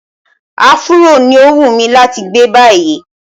Áfúró ní ó wùnmí láti gbé báyìí.